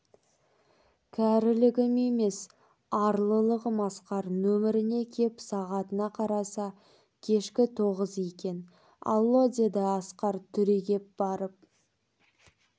кәрілігім емес арлылығым асқар нөмеріне кеп сағатына қараса кешкі тоғыз екен алло деді асқар түрегеп барып